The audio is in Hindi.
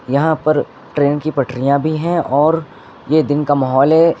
यहां पर ट्रेन की पटरियां भी हैं और ये दिन का माहौल है।